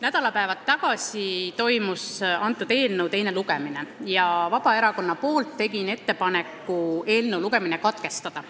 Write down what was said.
Nädalapäevad tagasi toimus selle eelnõu teine lugemine ja ma tegin Vabaerakonna nimel ettepaneku eelnõu lugemine katkestada.